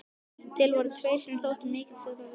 Til voru þeir sem þótti hann miklast af visku sinni.